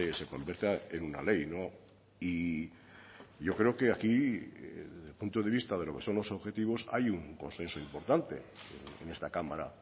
se convierta en una ley y yo creo que aquí desde el punto de vista de lo que son los objetivos hay un consenso importante en esta cámara